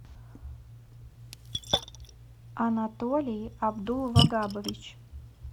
анатолий абдулвагабович